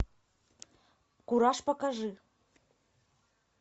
кураж покажи